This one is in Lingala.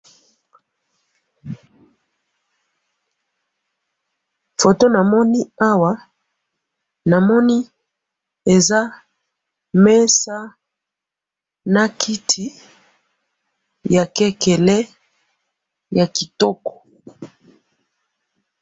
photo namoni awa namoni eza mesa na kiti ya kekele yakitoko